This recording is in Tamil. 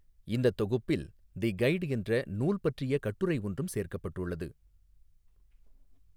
இந்த தொகுப்பில் 'தி கைட்' என்ற நூல் பற்றிய கட்டுரை ஒன்றும் சேர்க்கப்பட்டுள்ளது.